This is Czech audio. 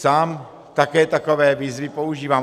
Sám také takové výzvy používám.